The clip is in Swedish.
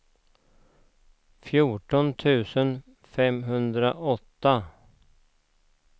fjorton tusen femhundraåtta